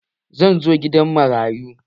Zan zo gidan marayu